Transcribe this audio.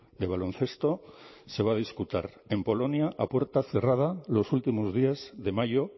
de baloncesto se va a disputar en polonia a puerta cerrada los últimos días de mayo